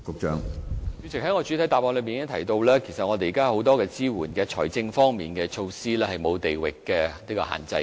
主席，我在主體答覆中提到現時已有很多支援，包括財政措施等，是沒有地域限制的。